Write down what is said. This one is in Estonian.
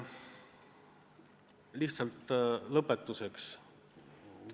Aga lihtsalt lõpetuseks ütlen seda.